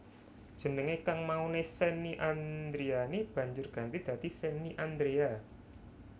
Jenengé kang mauné Shenny Andriani banjur ganti dadi Shenny Andrea